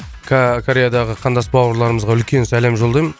кореядағы қандас бауырларымызға үлкен сәлем жолдаймын